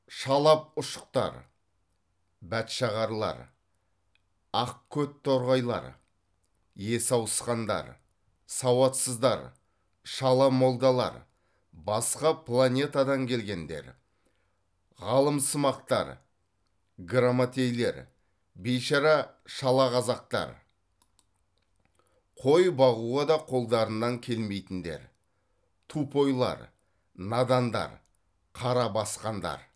шалапұшықтар бәтшағарлар ақ көт торғайлар есі ауысқандар сауатсыздар шала молдалар басқа планетадан келгендер ғалымсымақтар грамотейлер бейшара шалақазақтар қой бағуға да қолдарынан келмейтіндер тупойлар надандар қара басқандар